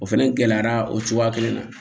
O fɛnɛ gɛlɛyara o cogoya kelen na